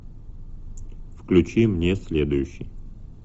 включи мне следующий